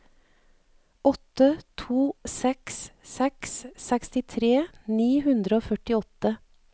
åtte to seks seks sekstitre ni hundre og førtiåtte